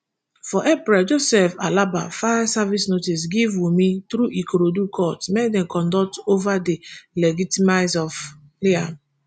for april joseph aloba file serve notice give wumi through ikorodu court make dem conduct ova di legtimise of liam